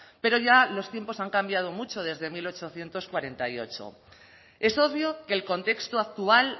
pero ya los tiempos han cambiado mucho desde mil ochocientos cuarenta y ocho es obvio que el contexto actual